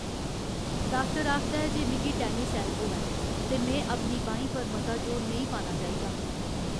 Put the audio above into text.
Doctor आखदा ऐ जे मिगी टेनिस एल्बो ऐ ते में अपनी बाहीं पर मता जोर नेईं पाना चाहिदा।